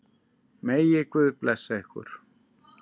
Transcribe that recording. Megi Guð blessa ykkur.